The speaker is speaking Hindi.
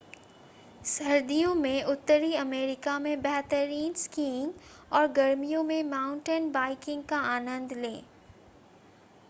सर्दियों में उत्तरी अमेरिका में बेहतरीन स्कीइंग और गर्मियों में माउंटेन बाइकिंग का आनंद लें